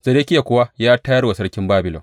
Zedekiya kuwa ya tayar wa Sarkin Babilon.